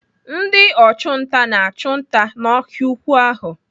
Ndị ọchụnta na-achụ nta n'ọhịa ukwuu ahụ.